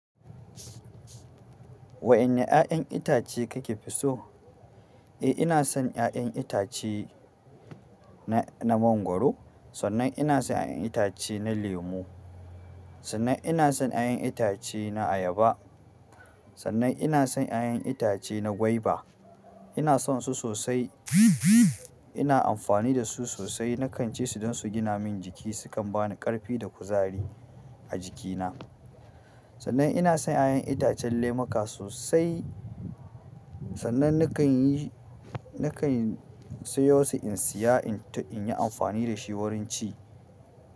Wa ƴanne ƴaƴan itace kake fi so. Eh, ina son ya'yan itace na, na mangwaro, sannan ina son ya'yan itace na lemu, sannan ina son ya'yan itace na ayaba, sannan ina son ya'yan itace na gwaiba. Ina son su sosai. Ina amfani da su sosai. Nakan ci su don su gina min jiki, sukan ba ni ƙarfi da kuzari a jikina. Sannan ina son ya'yan itacen lemuka sosai. Sannan nakan yi, nakan tayo su in siya in, in yi amfani da shi wurin ci.